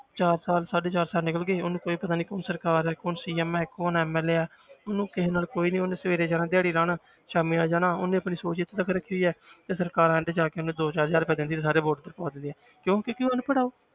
ਚਾਰ ਸਾਲ ਸਾਢੇ ਚਾਰ ਸਾਲ ਨਿਕਲ ਉਹਨੂੰ ਕੋਈ ਪਤਾ ਨੀ ਕੌਣ ਸਰਕਾਰ ਹੈ ਕੌਣ CM ਹੈ ਕੌਣ MLA ਹੈ ਉਹਨੂੰ ਕਿਸੇ ਨਾਲ ਕੋਈ ਨੀ, ਉਹਨੇ ਸਵੇਰੇ ਜਾਣਾ ਦਿਹਾੜੀ ਲਾਉਣ ਸ਼ਾਮੀ ਆ ਜਾਣਾ ਉਹਨੇ ਆਪਣੀ ਸੋਚ ਇੱਥੇ ਤੱਕ ਰੱਖੀ ਹੈ ਤੇ ਸਰਕਾਰਾਂ ਨੇ ਜਾ ਕੇ ਉਹਨੂੰ ਦੋ ਚਾਰ ਹਜ਼ਾਰ ਦਿੰਦੀ ਹੈ ਤੇ ਸਾਰੇ vote ਪਵਾ ਦਿੰਦੀ ਹੈ ਕਿਉਂ ਕਿਉਂਕਿ ਅਨਪੜ੍ਹ ਆ ਉਹ।